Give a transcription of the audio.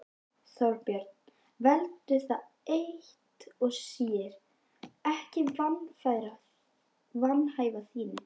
Þorbjörn: Veldur það eitt og sér ekki vanhæfi þínu?